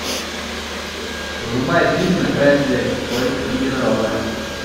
врубай фильм на край света в поисках единорога